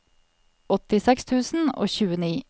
åttiseks tusen og tjueni